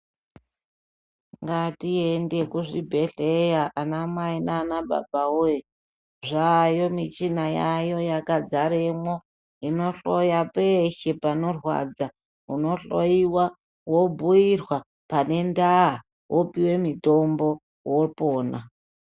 Ngatiende kuzvibhedhlera anamai nanababa woye zvayo michina yaayo yakadzaremwo inohloya peshe panorwadza , inohloiwa wobhuirwa pane ndaaa wopuwe mutombo wopona.